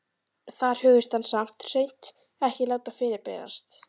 Þar hugðist hann samt hreint ekki láta fyrirberast.